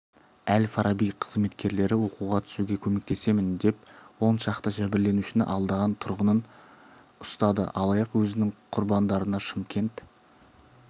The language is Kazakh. әл-фараби қызметкерлері оқуға түсуге көмектесемін деп он шақты жәбірленушіні алдаған тұрғынын ұстады алаяқ өзінің құрбандарына шымкент